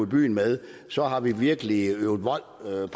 byen med så har vi virkelig øvet vold mod